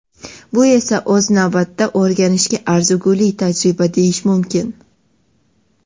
Bu esa o‘z navbatida o‘rganishga arzigulik tajriba deyish mumkin.